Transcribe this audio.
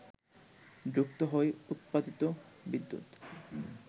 যুক্ত হয় উৎপাদিত বিদ্যুৎ